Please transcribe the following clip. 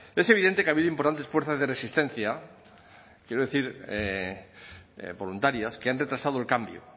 es evidente que ha habido importantes fuerzas de resistencia quiero decir voluntarias que han retrasado el cambio